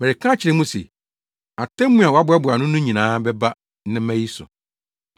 Mereka akyerɛ mo se, atemmu a wɔaboaboa ano no nyinaa bɛba nnɛmma yi so.